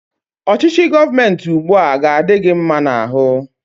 Ọchịchị gọọmenti ụgbụa, a dị gị mma n'ahụ?